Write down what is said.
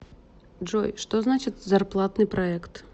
джой что значит зарплатный проект